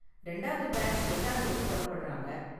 ரெண்டாவது பேட்ச் எட்டான் தேதி பொறப்படுறாங்க.